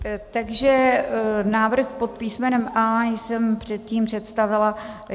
Takže návrh pod písmenem A jsem předtím představila.